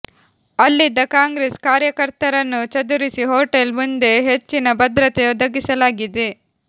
ಅಲ್ಲಿದ್ದ ಕಾಂಗ್ರೆಸ್ ಕಾರ್ಯಕರ್ತರನ್ನು ಚದುರಿಸಿ ಹೋಟೆಲ್ ಮುಂದೆ ಹೆಚ್ಚಿನ ಭದ್ರತೆ ಒದಗಿಸಲಾಗಿದೆ